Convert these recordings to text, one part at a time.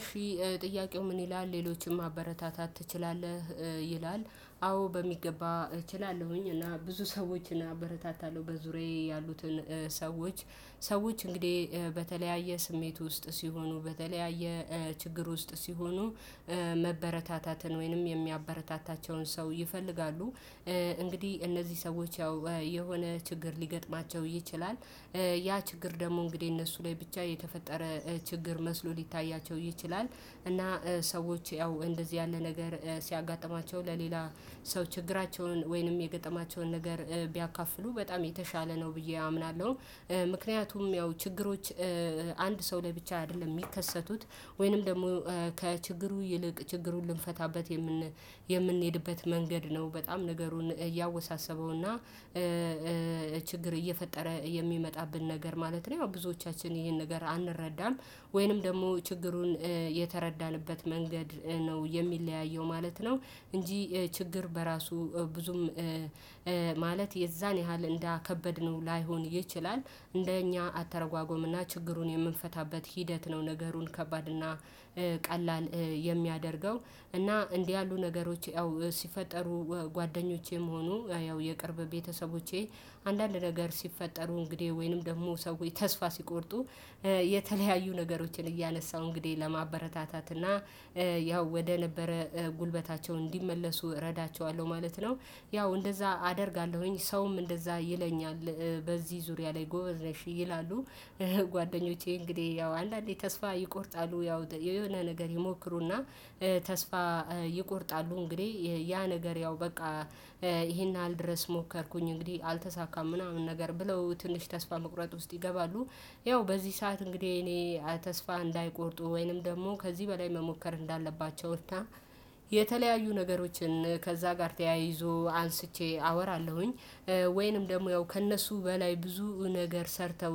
እሺ ጥያቄው ምን ይላል ሌሎችን ማበረታታት ትችላለህ? ይላል አዎ በሚገባ እችላለሁኝ እና ብዙ ሰዎችን አበረታታለሁ በዙሪያዬ ያሉትን ሰዎች። ሰዎች እንግዲህ በተለያየ ስሜት ውስጥ ሲሆኑ በተለያየ ችግር ውስጥ ሲሆኑ መበረታታትን ወይንም የሚያበረታታቸውን ሰው ይፈልጋሉ። እንግዲህ እነዚህ ሰዎች ያው የሆነ ችግር ሊገጥማቸው ይችላል። ያ ችግር ደግሞ እንግዲህ እነሱ ላይ ብቻ የተፈጠረ ችግር መስሎ ሊታያቸው ይችላል። እና ሰዎች ያው እንደዚህ ያለ ነገር ሲያጋጥማቸው ለሌላ ሰው ችግራቸውን ወይንም የገጠማቸውን ነገር ቢያካፍሉ በጣም የተሻለ ነው ብዬ አምናለሁ። ምክንያቱም ያው ችግሮች አንድ ሰው ላይ ብቻ አይደለም የሚከሰቱት። ወይንም ደግሞ ከችግሩ ይልቅ ችግሩን ልንፈታበት የምንሄድበት መንገድ ነው በጣም ነገሩን እያወሳሰበውና ችግር እየፈጠረ የሚመጣብን ነገር ማለት ነው። ያው ብዙዎቻችን ይሄን ነገር አንረዳም። ወይንም ደግሞ ችግሩን የተረዳንበት መንገድ ነው የሚለያየው ማለት ነው። እንጂ ችግር በራሱ ብዙም ማለት የዛን ያህል እንዳከበድነው ላይሆን ይችላል። እንደኛ አተረጓጎምና ችግሩን የምንፈታበት ሂደት ነው ነገሩን ከባድ እና ቀላል የሚያደርገው። እና እንዲህ ያሉ ነገሮች ያው ሲፈጠሩ ጓደኞቼም ሆኖ ያው የቅርብ ቤተሰቦቼ አንዳንድ ነገር ሲፈጠሩ እንግዲህ ወይንም ደግሞ ሰዎች ተስፋ ሲቆርጡ የተለያዩ ነገሮችን እያነሳሁ እንግዲህ ለማበረታታት እና ያው ወደ ነበረ ጉልበታቸው እንዲመለሱ እረዳቸዋለሁ ማለት ነው። ያው እንደዛ አደርጋለሁኝ ሰውም እንደዛ ይለኛል በዚህ ዙሪያ ላይ ጎበዝ ነሽ ይላሉ። ጓደኞቼ እንግዲህ ያው አንዳንዴ ተስፋ ይቆርጣሉ ያው የሆነ ነገር ይሞክሩና ተስፋ ይቆርጣሉ እንግዲህ ያ ነገር ያው በቃ ይሄን ያህል ድረስ ሞከርኩኝ እንግዲህ አልተሳካም ምናምን ነገር ብለው ትንሽ ተስፋ መቁረጥ ውስጥ ይገባሉ። ያው በዚህ ሰዓት እንግዲህ እኔ ተስፋ እንዳይቆርጡ ወይንም ደግሞ ከዚህ በላይ መሞከር እንዳለባቸውና የተለያዩ ነገሮችን ከዛ ጋር ተያይዞ አንስቼ አወራለሁኝ። ወይንም ደግሞ ያው ከእነሱ በላይ ብዙ ነገር ሰርተው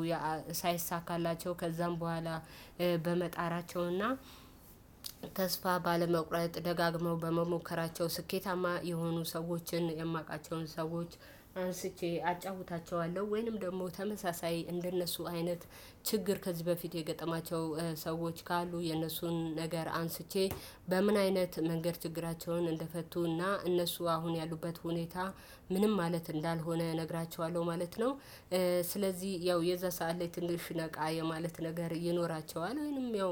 ሳይሳካላቸው ከዛም በኋላ በመጣራቸውና ተስፋ ባለመቁረጥ ደጋግመው በመሞከራቸው ስኬታማ የሆኑ ሰዎችን የማውቃቸውን ሰዎች አንስቼ አጫውታቸዋለሁ። ወይንም ደግሞ ተመሳሳይ እንደነሱ አይነት ችግር ከዚህ በፊት የገጠማቸው ሰዎች ካሉ የነሱን ነገር አንስቼ በምን አይነት መንገድ ችግራቸውን እንደፈቱና እነሱ አሁን ያሉበት ሁኔታ ምንም ማለት እንዳልሆነ እነግራችኋለሁ ማለት ነው። ስለዚህ ያው የዛ ሰዓት ላይ ትንሽ ነቃ የማለት ነገር ይኖራቸዋል ወይንም ያው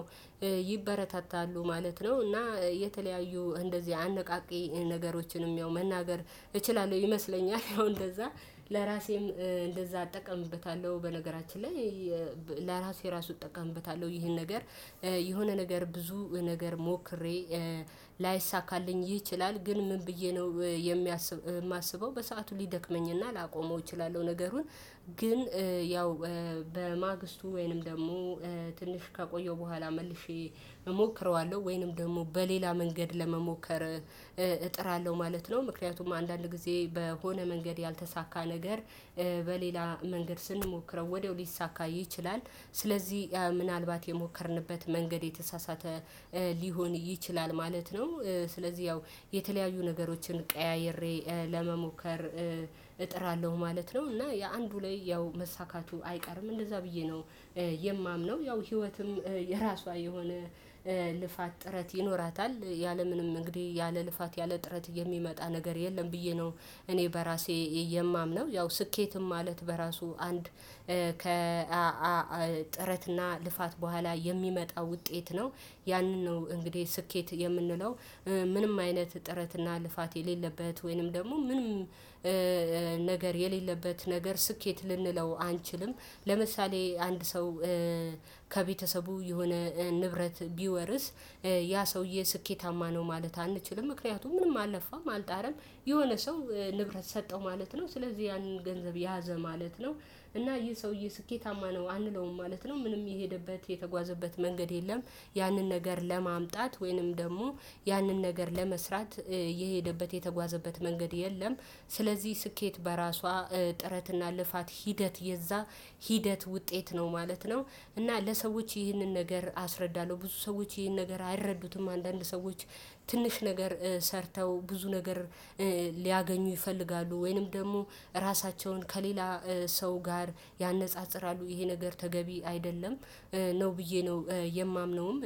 ይበረታታሉ ማለት ነው። እና የተለያዩ እንደዚህ አነቃቂ ነገሮችንም ያው መናገር እችላለሁ ይመስለኛል። ያው እንደዛ ለራሴም እንደዛ አጠቃምበታለሁ በነገራችን ላይ ለራሴ ራሱ እጠቀምበታለሁ ይሄን ነገር። የሆነ ነገር ብዙ ነገር ሞክሬ ላይሳካልኝ ይችላል ግን ምን ብዬ ነው የማስበው በሰአቱ ሊደክመኝና ላቆመው እችላለሁ ነገሩን። ግን ያው በማግስቱ ወይንም ደግሞ ትንሽ ከቆየሁ በኋላ መልሼ እሞክረዋለሁ ወይንም ደግሞ በሌላ መንገድ ለመሞከር እጥራለሁ ማለት ነው። ምክንያቱም አንዳንድ ጊዜ በሆነ መንገድ ያልተሳካ ነገር በሌላ መንገድ ስንሞክረው ወዲያው ሊሳካ ይችላል። ስለዚህ ምናልባት የሞከርንበት መንገድ የተሳሳተ ሊሆን ይችላል ማለት ነው። ስለዚህ ያው የተለያዩ ነገሮችን ቀያይሬ ለመሞከር እጥራለሁ ማለት ነው። እና የአንዱ ላይ ያው መሳካቱ አይቀርም እንደዛ ብዬ ነው የማምነው። ያው ህይወትም የራሷ የሆነ ልፋት ጥረት ይኖራታል ያለምንም እንግዲህ ያለ ልፋት ያለ ጥረት የሚመጣ ነገር የለም ብዬ ነው። እኔ በራሴ የማምነው ያው ስኬትም ማለት በራሱ አንድ ከጥረትና ልፋት በኋላ የሚመጣ ውጤት ነው። ያንን ነው እንግዲህ ስኬት የምንለው። ምንም አይነት ጥረትና ልፋት የሌለበት ወይንም ደግሞ ምንም ነገር የሌለበት ነገር ስኬት ልንለው አንችልም። ለምሳሌ አንድ ሰው ከቤተሰቡ የሆነ ንብረት ቢወርስ ያ ሰውዬ ስኬታማ ነው ማለት አንችልም። ምክንያቱም ምንም አለፋም አልጣረም የሆነ ሰው ንብረት ሰጠው ማለት ነው ስለዚህ ያንን ገንዘብ ያዘ ማለት ነው። እና ይህ ሰውዬ ስኬታማ ነው አንለውም ማለት ነው ምንም የሄደበት የተጓዘበት መንገድ የለም። ያንን ነገር ለማምጣት ወይንም ደግሞ ያንን ነገር ለመስራት የሄደበት የተጓዘበት መንገድ የለም። ስለዚህ ስኬት በራሷ ጥረትና ልፋት ሂደት የዛ ሂደት ውጤት ነው ማለት ነው። እና ለሰዎች ይህንን ነገር አስረዳለሁ ብዙ ሰዎች ይህን ነገር አይረዱትም። አንዳንድ ሰዎች ትንሽ ነገር ሰርተው ብዙ ነገር ሊያገኙ ይፈልጋሉ ወይንም ደግሞ ራሳቸውን ከሌላ ሰው ጋር ያነጻጽራሉ ይሄ ነገር ተገቢ አይደለም። ነው ብዬ ነው የማምነውም እኔ